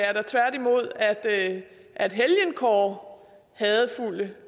er da tværtimod at at helgenkåre hadefulde